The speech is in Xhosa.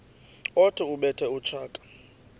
othi ubethe utshaka